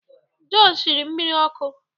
Jọn shiri mmiri ọkụ